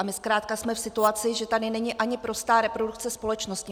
A my zkrátka jsme v situaci, že tady není ani prostá reprodukce společnosti.